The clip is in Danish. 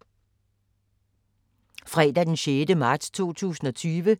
Fredag d. 6. marts 2020